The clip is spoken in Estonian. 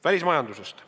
Välismajandusest.